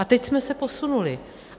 A teď jsme se posunuli.